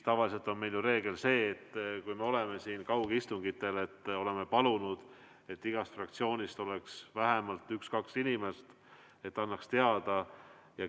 Tavaliselt on meil ju see reegel, et kaugistungitel me oleme palunud, et igast fraktsioonist oleks vähemalt üks-kaks inimest siin, kes annaks teada.